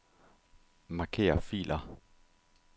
Marker filer.